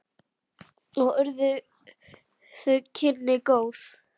Og urðu þau kynni góð.